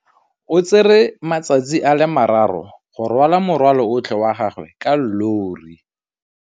O tsere malatsi a le marraro go rwala morwalo otlhe wa gagwe ka llori.